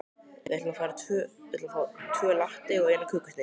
Við ætlum að fá tvo latte og eina kökusneið.